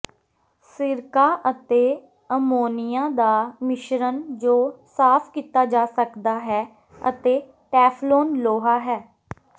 ਸਿਰਕਾ ਅਤੇ ਅਮੋਨੀਆ ਦਾ ਮਿਸ਼ਰਣ ਜੋ ਸਾਫ ਕੀਤਾ ਜਾ ਸਕਦਾ ਹੈ ਅਤੇ ਟੈਫਲੌਨ ਲੋਹਾ ਹੈ